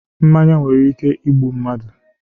Mmanya nwere ike igbu mmadụ